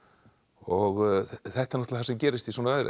og þetta er það sem gerist í svona veðri